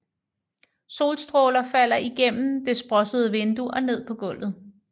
Solstråler falder igennem det sprossede vindue og ned på gulvet